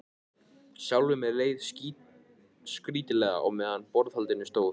Sjálfum leið mér skrýtilega meðan á borðhaldinu stóð.